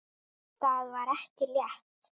Það var ekki létt.